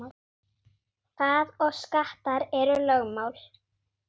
Það og skattar eru lögmál.